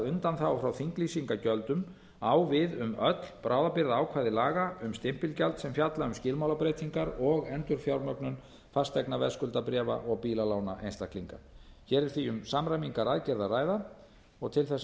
undanþága frá þinglýsingargjöldum á við um öll bráðabirgðaákvæði laga um stimpilgjald sem fjalla um skilmálabreytingar og endurfjármögnun fasteignaveðskuldabréfa og bílalána einstaklinga hér er því um samræmingaraðgerð að ræða og til þess að